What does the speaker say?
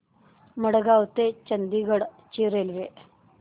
मडगाव ते चंडीगढ ची रेल्वे